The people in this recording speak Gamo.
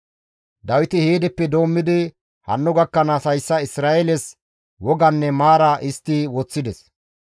Dawiti heedeppe doommidi hanno gakkanaas hayssa Isra7eeles woganne maara histti woththides.